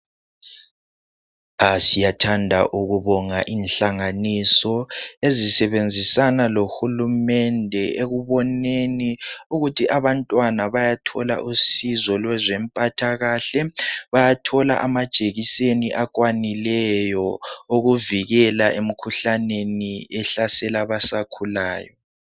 Ah siyathanda ukubonga inhlanganiso ezisebenzisana lohulumende ekuboneni ukuthi abantwana bayathola usizo lwezempathakahle, bayathola amajekiseni akwanileyo ukuvikela emkhuhlaneni ehlasela abasakhulayo.